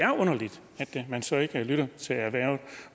er underligt at man så ikke lytter til erhvervet